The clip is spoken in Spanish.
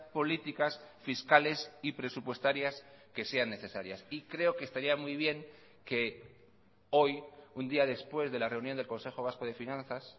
políticas fiscales y presupuestarias que sean necesarias y creo que estaría muy bien que hoy un día después de la reunión del consejo vasco de finanzas